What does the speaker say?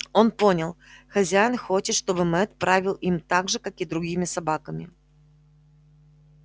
он понял хозяин хочет чтобы мэтт правил им так же как и другими собаками